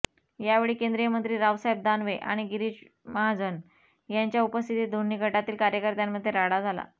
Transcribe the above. यावेळी केंद्रीय मंत्री रावसाहेब दानवे आणि गिरीज महाजन यांच्या उपस्थित दोन्ही गटातील कार्यकर्त्यांमध्ये राडा झाला